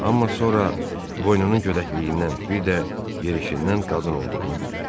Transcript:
Amma sonra boynunun gödəkliyindən bir də yerişindən qadın olduğunu bildi.